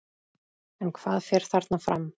En hvað fer þarna fram?